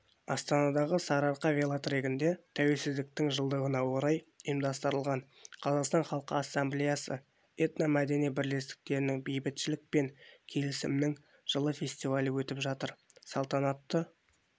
астанадағы сарыарқа велотрегінде тәуелсіздіктің жылдығына орай ұйымдастырылған қазақстан халқы ассамблеясы этномәдени бірлестіктерінің бейбітшілік пен келісімнің жылы фестивалі өтіп жатыр салтанатты